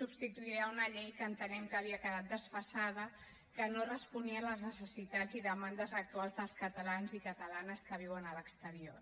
substituirà una llei que entenem que havia quedat desfasada que no responia a les necessitats i demandes actuals dels catalans i catalanes que viuen a l’exterior